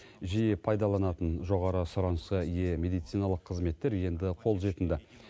жиі пайдаланатын жоғары сұранысқа ие медициналық қызметтер енді қолжетімді